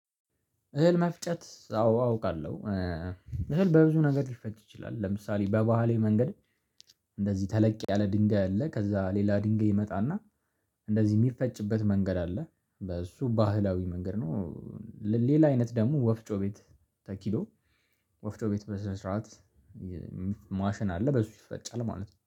እህል መፍጨት አዎ አውቃለሁ። እህል በብዙ ነገር ሊፈጭ ይችላል። ለምሳሌ በባህላዊ መንገድ እንደዚህ ተለቅ ያለ ድንጋይ አለ። ከዛ ሌላ ድንጋይ ይመጣና እንደዚህ የሚፈጭበት መንገድ አለ። በሱ ባህላዊ መንገድ ነው። ሌላ አይነት ደግሞ ወፍጮ ቤት ተኪዶ። ወፍጮ ቤት በስነ ስርዓት ማሽን አለ በሱ ይፈጫል ማለት ነው